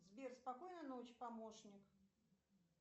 сбер спокойной ночи помощник